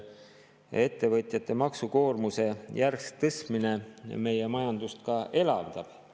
Kas ettevõtjate maksukoormuse järsk tõstmine meie majandust ka elavdab?